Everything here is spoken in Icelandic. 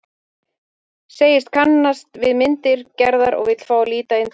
Segist kannast við myndir Gerðar og vill fá að líta inn til hennar.